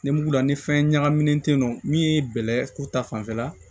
Nimugula ni fɛn ɲagaminen tɛ yen nɔ min ye bɛlɛ ko ta fanfɛla